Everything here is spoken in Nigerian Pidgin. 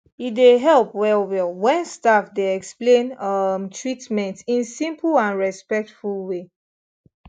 e dey help well well when staff dey explain um treatment in simple and respectful way